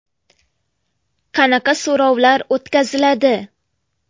Qanaqa so‘rovlar o‘tkaziladi?